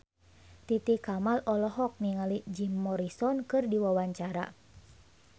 Titi Kamal olohok ningali Jim Morrison keur diwawancara